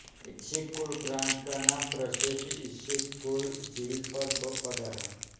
इसिक Kul प्रांत का नाम प्रसिद्ध इसिक कुल झील पर पड़ा है